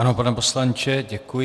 Ano, pane poslanče, děkuji.